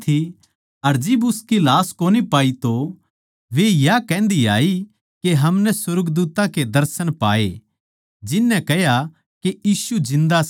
अर जिब उसकी लाश कोनी पाई तो वा या कहन्दी आई के हमनै सुर्गदूत्तां के दर्शन पाये जिन नै कह्या के यीशु जिन्दा सै